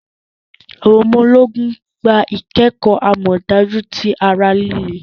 Awọn ọmọ-ogun gbá ikẹkọ amọdaju ti ará líle